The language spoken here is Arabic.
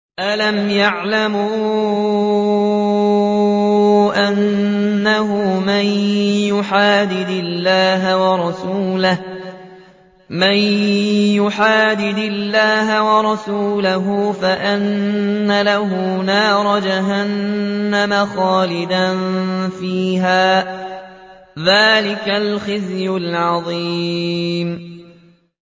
أَلَمْ يَعْلَمُوا أَنَّهُ مَن يُحَادِدِ اللَّهَ وَرَسُولَهُ فَأَنَّ لَهُ نَارَ جَهَنَّمَ خَالِدًا فِيهَا ۚ ذَٰلِكَ الْخِزْيُ الْعَظِيمُ